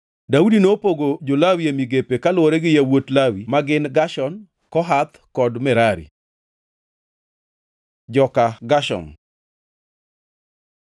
Daudi nopogo jo-Lawi e migepe kaluwore gi yawuot Lawi ma gin Gershon, Kohath kod Merari. Joka Gershom